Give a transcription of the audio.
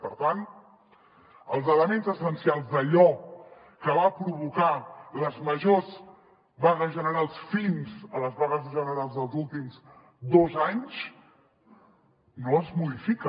per tant els elements essencials d’allò que va provocar les majors vagues generals fins a les vagues generals dels últims dos anys no es modifica